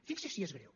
fixi’s si és greu